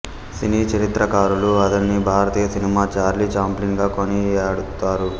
సినీ చరిత్రకారులు అతనిని భారతీయ సినిమా చార్లీ చాప్లిన్ గా కొనియాడుతారు